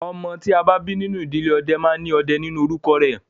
Ọmọ tí a bí nínú ìdílé ọdẹ máa ní "Ọdẹ" nínú orúkọ rẹ̀